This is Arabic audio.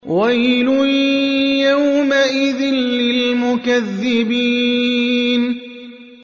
وَيْلٌ يَوْمَئِذٍ لِّلْمُكَذِّبِينَ